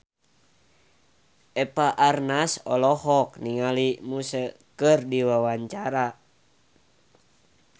Eva Arnaz olohok ningali Muse keur diwawancara